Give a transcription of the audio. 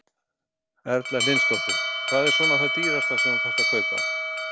Erla Hlynsdóttir: Hvað er svona það dýrasta sem að þú þarft að kaupa?